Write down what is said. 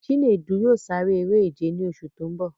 Chinedu yóò sare eré-ìje ní oṣù tó ń bọ̀.